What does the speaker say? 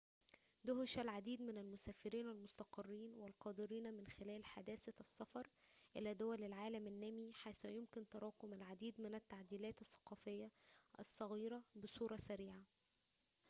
دُهشَ العديد من المسافرين المستقرين والقادرين من خلال حداثة السفر إلى دول العالم النامي حيث يمكن تراكم العديد من التعديلات الثقافية الصغيرة بصورةٍ سريعةٍ